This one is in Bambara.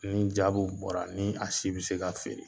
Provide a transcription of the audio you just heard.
Ni jabiw bɔra ni a si be se ka feere